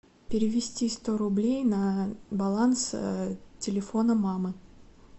перевести сто рублей на баланс телефона мамы